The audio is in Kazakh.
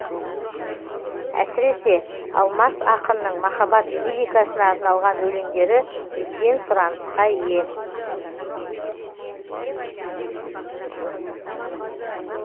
әсіресе алмас ақынның махаббат лирикасына арналған өлеңдері үлкен сұранысқа ие